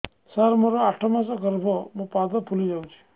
ସାର ମୋର ଆଠ ମାସ ଗର୍ଭ ମୋ ପାଦ ଫୁଲିଯାଉଛି